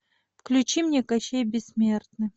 включи мне кащей бессмертный